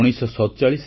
ଏବେ ତ ପାଗ ଖୁବ୍ ଭଲ